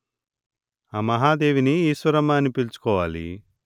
ఆ మహాదేవిని ఈశ్వరమ్మ అని పిలుచుకోవాలి